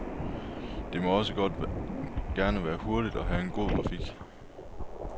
Det må også gerne være hurtigt og have god grafik.